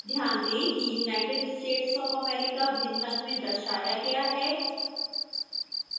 ध्यान दें कि united states of america भिन्न रंग में दर्शाया गया है